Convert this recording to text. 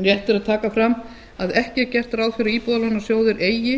rétt er að taka fram að ekki er gert ráð fyrir að íbúðalánasjóður eigi